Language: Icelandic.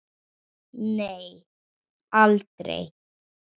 Nei, aldrei.